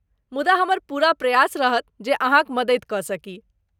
मुदा, हमर पूरा प्रयास रहत जे अहाँक मदति कऽ सकी।